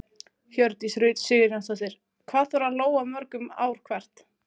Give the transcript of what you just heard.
Hjördís Rut Sigurjónsdóttir: Hvað þarf að lóga mörgum ár hvert?